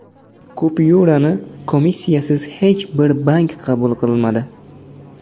Kupyurani komissiyasiz hech bir bank qabul qilmadi.